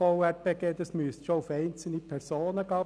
Es müsste schon um einzelne Personen gehen.